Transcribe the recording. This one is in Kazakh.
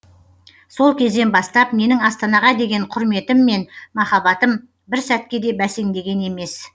сол кезден бастап менің астанаға деген құрметім мен махаббатым бір сәтке де бәсеңдеген емес